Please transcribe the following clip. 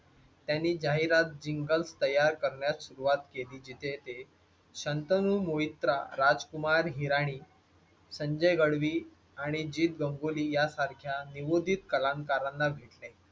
त्यांनी जाहिरात जिंगल तयार करण्यास सुरुवात केली जिथे ते शंतनू मोहितराव, राजकुमार हिराणी, संजय गडवी आणि जीत गंगोली यांसारख्या नियोजित कलाकारांना भेटले